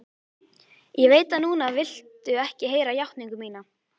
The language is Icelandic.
Ég veit að núna viltu ekki heyra játningu mína.